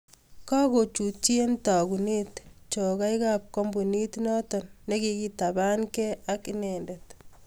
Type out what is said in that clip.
Kakochutyii eng tagunet chogaik ap kampuniit notok nikiketapan gei ak inendet